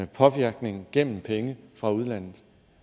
påvirkning gennem penge fra udlandet